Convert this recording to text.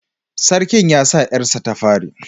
Sarkin ya rasa ‘yarsa ta fari